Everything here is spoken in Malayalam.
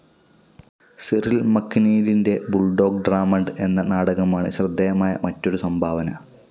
സിറിൽ മക്നീലിന്റെ ബുൾഡോഗ്‌ ഡ്രമണ്ട് എന്ന നാടകമാണ് ശ്രദ്ധേയമായ മറ്റൊരു സംഭാവന.